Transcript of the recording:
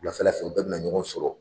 Wuladafɛla fɛ, u bɛ na ɲɔgɔn sɔrɔ.